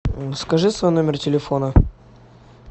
скажи свой номер телефона